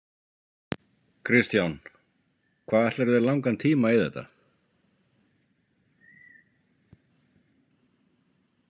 Kristján: Hvað ætlarðu þér langan tíma í þetta?